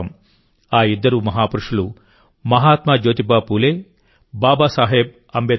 ఆ ఇద్దరు మహాపురుషులు మహాత్మా జ్యోతిబా ఫూలే బాబాసాహెబ్ అంబేద్కర్